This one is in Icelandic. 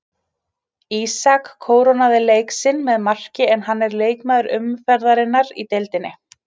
Ísak kórónaði leik sinn með marki en hann er leikmaður umferðarinnar í deildinni.